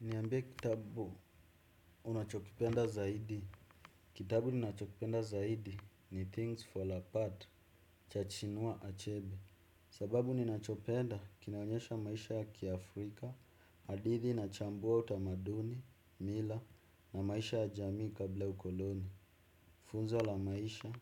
Niambie kitabu unachokipenda zaidi. Kitabu ninachokipenda zaidi ni "Things Fall Apart" cha Achinua Achebe. Sababu ninachopenda kinaonyesha maisha ya kiafrika, hadithi inachambua utamaduni, mila na maisha ya jamii kabla ya ukoloni. Funzo la maisha,